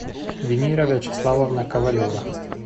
венера вячеславовна ковалева